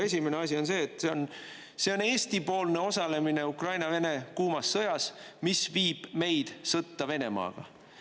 Esimene asi on see, et see on Eesti-poolne osalemine Ukraina-Vene kuumas sõjas, mis viib meid sõtta Venemaaga.